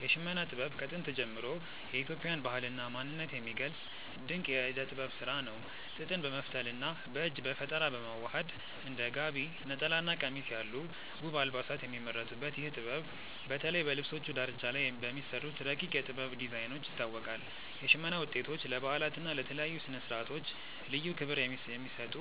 የሽመና ጥበብ ከጥንት ጀምሮ የኢትዮጵያን ባህልና ማንነት የሚገልጽ ድንቅ የእደ ጥበብ ስራ ነው። ጥጥን በመፍተልና በእጅ በፈጠራ በማዋሃድ እንደ ጋቢ፣ ነጠላና ቀሚስ ያሉ ውብ አልባሳት የሚመረቱበት ይህ ጥበብ፣ በተለይ በልብሶቹ ዳርቻ ላይ በሚሰሩት ረቂቅ የ"ጥበብ" ዲዛይኖች ይታወቃል። የሽመና ውጤቶች ለበዓላትና ለተለያዩ ስነ-ስርዓቶች ልዩ ክብር የሚሰጡ